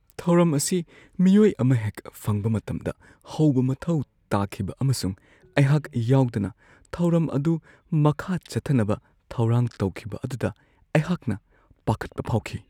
ꯊꯧꯔꯝ ꯑꯁꯤ ꯃꯤꯑꯣꯏ ꯑꯃ ꯍꯦꯛ ꯐꯪꯕ ꯃꯇꯝꯗ ꯍꯧꯕ ꯃꯊꯧ ꯇꯥꯈꯤꯕ ꯑꯃꯁꯨꯡ ꯑꯩꯍꯥꯛ ꯌꯥꯎꯗꯅ ꯊꯧꯔꯝ ꯑꯗꯨ ꯃꯈꯥ ꯆꯠꯊꯅꯕ ꯊꯧꯔꯥꯡ ꯇꯧꯈꯤꯕ ꯑꯗꯨꯗ ꯑꯩꯍꯥꯛꯅ ꯄꯥꯈꯠꯄ ꯐꯥꯎꯈꯤ ꯫